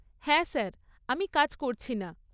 হ্যাঁ স্যার, আমি কাজ করছি না।